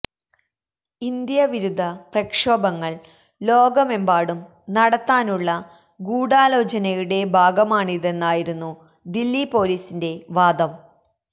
ഇന്ത്യാവിരുദ്ധ പ്രക്ഷോഭങ്ങൾ ലോകമെമ്പാടും നടത്താനുള്ള ഗൂഢാലോചനയുടെ ഭാഗമാണിതെന്നായിരുന്നു ദില്ലി പൊലീസിന്റെ വാദം